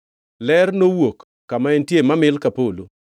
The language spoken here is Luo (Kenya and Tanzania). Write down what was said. Ler nowuok kama entie mamil ka mil polo.